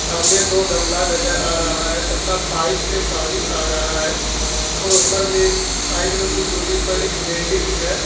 हमें दो गमला नजर आ रहा है तथा पाइप से पानी आ रहा है और ऊपर में साइड में कुछ दूरी पर एक बिल्डिंग है।